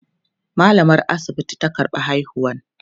mallamar asibiti ta karɓa haihuwan